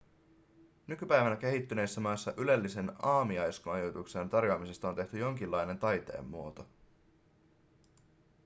nykypäivänä kehittyneissä maissa ylellisen aamiaismajoituksen tarjoamisesta on tehty jonkinlainen taiteenmuoto